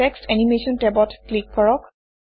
text animation টেবত click কৰক